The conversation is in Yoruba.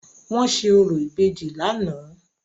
Wọ́n ṣe orò ìbejì lánàá.